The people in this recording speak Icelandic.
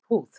Rauð húð